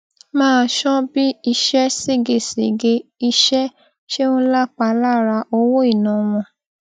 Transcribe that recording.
máa ṣọ bí ìṣe ségesège iṣẹ ṣe ń lapa lára owó ìná wọn